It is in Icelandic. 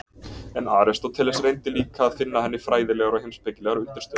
En Aristóteles reyndi líka að finna henni fræðilegar og heimspekilegar undirstöður.